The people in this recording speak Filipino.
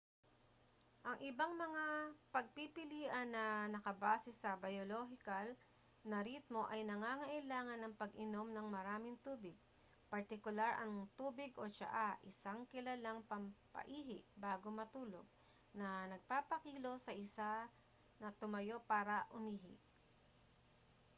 ang ibang mga pagpipilian na nakabase sa biolohikal na ritmo ay nangangailangan ng pag-inom ng maraming tubig partikular ang tubig o tsaa isang kilalang pampa-ihi bago matulog na nagpapakilos sa isa na tumayo para umihi